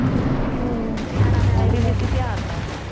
ਨਿਆਣਾ ਵੈਸੇ ਵੀ ਬੀਬੀ ਪਿਆਰ ਦਾ ਵਾ